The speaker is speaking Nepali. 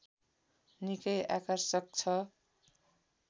निकै आकर्षक छ